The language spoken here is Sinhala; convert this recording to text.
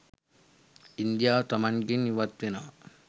ඉන්දියාව තමන්ගෙන් ඉවත් වෙනවා